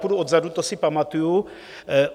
Půjdu odzadu, to si pamatuju.